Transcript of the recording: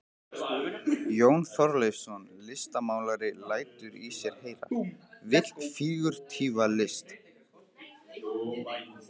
Jón Þorleifsson listmálari lætur í sér heyra, vill fígúratíva list.